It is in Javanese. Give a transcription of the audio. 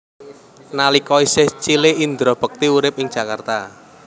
Nalika isih cilik Indra Bekti urip ing Jakarta